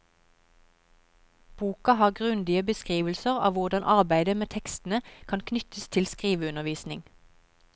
Boka har grundige beskrivelser av hvordan arbeidet med tekstene kan knyttes til skriveundervisning.